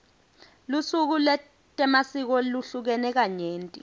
lusuku letemasiko luhlukene kanyenti